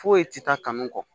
Foyi tɛ taa kanu kɔ